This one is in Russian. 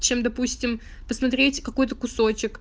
чем допустим посмотреть какой-то кусочек